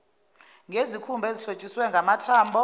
ngezikhumba ezihlotshiswe ngamathambo